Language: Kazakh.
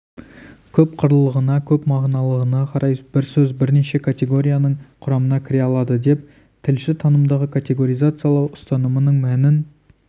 көп қырлылығына көп мағыналылығына қарай бір сөз бірнеше категорияның құрамына кіре алады деп тілші танымдағы категоризациялау ұстанымының мәнін